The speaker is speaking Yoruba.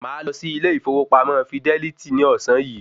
Màá lọ sí ilé ìfowópamọ́ fidẹ́lítì ní ọ̀sán yìí